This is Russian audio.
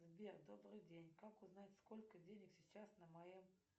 сбер добрый день как узнать сколько денег сейчас на моем